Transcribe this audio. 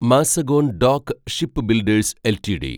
Mazagon dock shipbuilders LTD